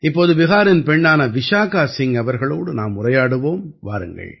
இப்போது பிஹாரின் பெண்ணான விசாகா சிங் அவர்களோடு நாம் உரையாடுவோம் வாருங்கள்